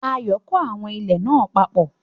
Ayọ̀ kó àwọn ilẹ̀ náà papọ̀